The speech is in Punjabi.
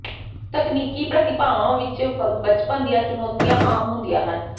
ਤਕਨੀਕੀ ਪ੍ਰਤੀਭਾਵਾਂ ਵਿੱਚ ਬਚਪਨ ਦੀਆਂ ਚੁਣੌਤੀਆਂ ਆਮ ਹੁੰਦੀਆਂ ਹਨ